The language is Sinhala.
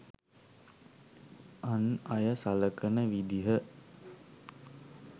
අන් අය සලකන විදිහ.